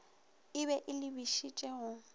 e be e lebišitše go